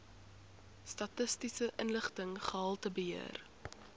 statistiese inligting gehaltebeheer